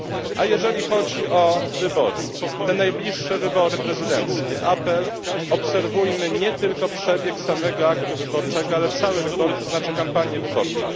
A jeżeli chodzi o wybory, te najbliższe wybory prezydenckie, apeluję obserwujmy nie tylko przebieg samego aktu wyborczego, ale całe wybory, to znaczy kampanię wyborczą.